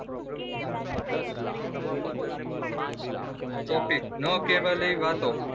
topic નાં કેવલી વાતો